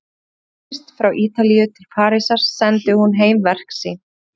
Er hún fluttist frá Ítalíu til Parísar sendi hún heim verk sín.